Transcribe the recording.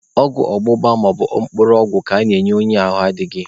Ọgwụ ọgbụgba maọbụ mkpụrụ ọgwụ ka ana-enye onye ahụ adịghị.